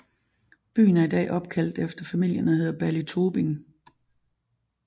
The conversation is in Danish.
Byen er i dag opkaldt efter familien og hedder Ballytobin